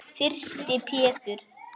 Þyrsti Pétur.